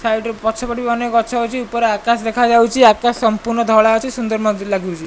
Side ରୁ ପଛ ପଟେ ବି ଅନେକ ଗଛ ଅଛି ଉପରେ ଆକାଶ ଦେଖାଯାଉଛି ଆକାଶ ସମ୍ପୂର୍ଣ୍ଣ ଧଳା ଅଛି ସୁନ୍ଦର ମଧ୍ୟ ଲାଗୁଛି।